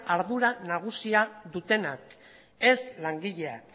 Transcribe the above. ardura nagusiena dutenak ez langileak